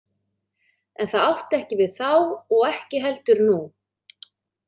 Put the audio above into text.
En það átti ekki við þá og ekki heldur nú.